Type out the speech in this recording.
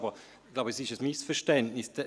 Es liegt ein Missverständnis vor.